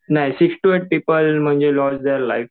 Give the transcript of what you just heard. नाही sixty eight people loss their life.